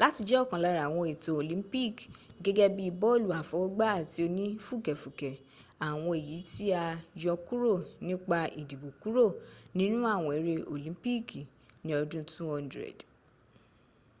láti jẹ́ òkan lára ́àwọǹ ètò olympicgẹ́gẹ́ bi bọlu àfọwọ́gbá ati onì fùkẹ̀fùkẹ̀,́ àwọǹ èyí tí a yọkúrò nípa ìdìbò kúrò nínú àwọn eré olympici ní ọdún 200